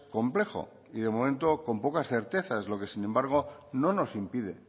complejo y de momento con pocas certezas lo que sin embargo no nos impide